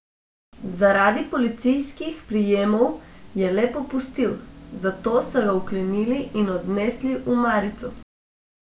Zaradi policijskih prijemov je le popustil, zato so ga vklenili in odnesli v marico.